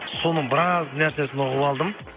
соның біраз нәрсесін ұғып алдым